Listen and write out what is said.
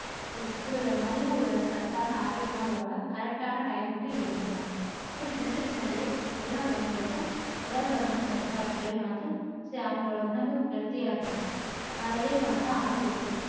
ஒரு ஒரு நல்ல ஒரு சத்தான ஆரோக்கியமான உணவா correct ஆன time க்கு எடுத்துக்கணும். அப்படி எடுத்துக்கிட்டாலே எல்லா பெண்களுக்கும் உடல்பருமன் கட்டுப்பாட்டுக்குள்ளேயும் வந்துரும் அது அவங்களோட உடம்பும் healthy ஆ இருக்கும் ஆஹ் இதே மாதிரி தான் ஆண்களுக்கும்